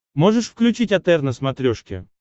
можешь включить отр на смотрешке